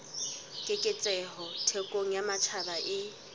keketseho thekong ya matjhaba e